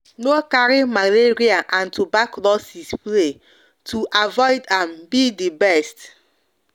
no carry malaria and turbaclosis play to avoid am be de best